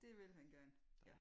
Det vil han gerne ja